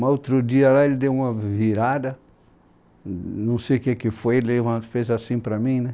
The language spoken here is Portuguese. Mas outro dia lá ele deu uma virada, não sei o que que foi, fez assim para mim, né?